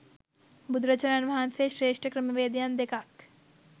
බුදුරජාණන් වහන්සේ ශ්‍රේෂ්ඨ ක්‍රමවේදයන් දෙකක්